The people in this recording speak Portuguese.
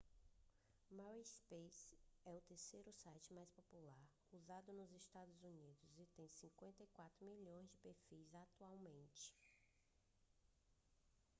o myspace é o terceiro site mais popular usado nos estados unidos e tem 54 milhões de perfis atualmente